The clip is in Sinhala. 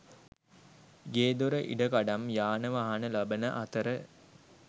ගේදොර ඉඩකඩම් යානවාහන ලබන අතර